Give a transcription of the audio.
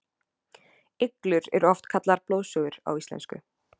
iglur eru oft kallaðar blóðsugur á íslensku